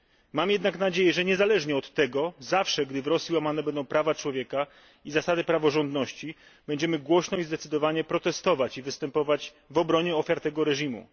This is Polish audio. Mam jednak nadzieję, że niezależnie od tego, zawsze, gdy w Rosji łamane będą prawa człowieka i zasady praworządności, będziemy głośno i zdecydowanie protestować i występować w obronie ofiar tego reżimu.